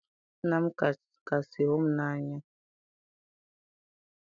Nna m kasị hụ m n'anya